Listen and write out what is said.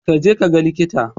Kaje ka ga likita.